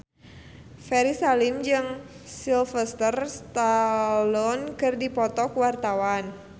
Ferry Salim jeung Sylvester Stallone keur dipoto ku wartawan